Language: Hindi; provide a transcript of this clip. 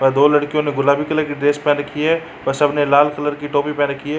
और दो लड्कियों ने गुलाबी कलर की ड्रेस पेहेन रखी हैं और सब ने लाल कलर की टोपी पेहेन रखी हैं।